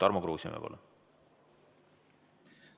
Tarmo Kruusimäe, palun!